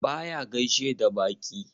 Baya gaishe da baƙi.